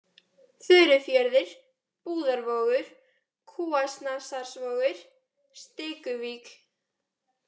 Furufjörður, Búðarvogur, Kúasnasarvogur, Stikuvík